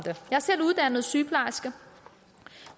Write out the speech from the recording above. selv uddannet som sygeplejerske